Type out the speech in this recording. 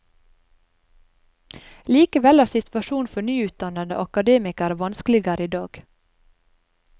Likevel er situasjonen for nyutdannede akademikere vanskeligere i dag.